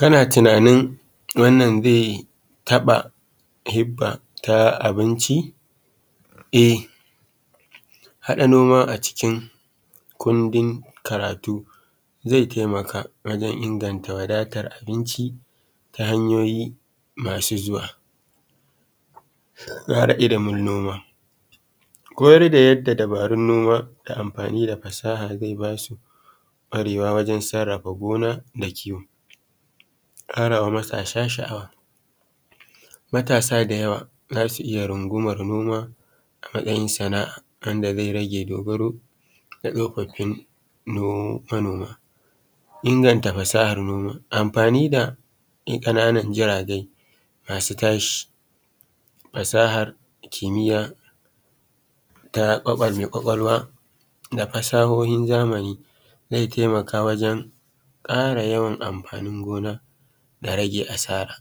Kana tunanin wannan zai taɓa hibba na abinci? E haɗa noma a cikin kundin karatu zai taimaka wajen inganta wadatar abinci ta hanyoyi masu zuwa don kara ilimin noma. Koyar da yadda dabarun noma amfani da fasaha zai ba su ƙwarewa wajen sarrafa gona da kiwo kara ma matasa sha'awa. Matasa da yawa za su iya runguwamar noma a matsayin sana'a wanda zai rage dogaro da tsofafin manoma. Inganta fasahar noma, amfani da ƙananan jirage masu tashi, fasahar da kimiya ta mai kwakwalwa da fasahohin zamani zai taimaka wajen kara yawan amfanin gona da rage asara.